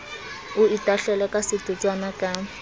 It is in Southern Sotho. o itahlele ka setotswana ka